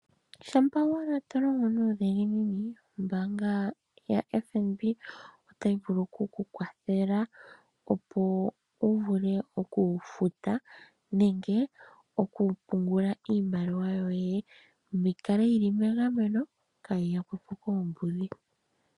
Shampa wala tolongo nuudhiginini ombaanga yaFNB otayi vulu oku ku kwathela opo uvule oku futa nenge oku pungula iimaliwa yoye, yi kale yi li megameno, kaa yi yakwetu po koombudhi.